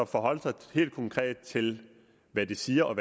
forholde sig helt konkret til hvad de siger og